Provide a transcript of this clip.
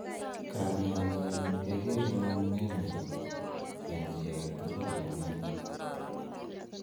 Kanyaenyin kegere nyonunenyin en chi agetugul nemioni.